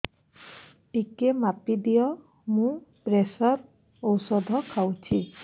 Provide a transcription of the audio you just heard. ଟିକେ ମାପିଦିଅ ମୁଁ ପ୍ରେସର ଔଷଧ ଖାଉଚି